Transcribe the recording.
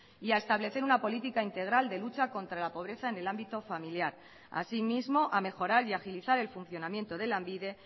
y a establecer una política integral de lucha contra la pobreza en el ámbito familiar así mismo a mejorar y a agilizar el funcionamiento de lanbide